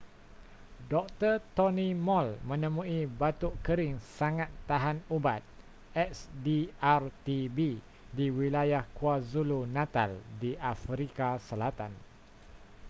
dr. tony moll menemui batuk kering sangat tahan ubat xdr-tb di wilayah kwazulu-natal di afrika selatan